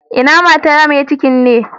Ina mata mai cikin ne?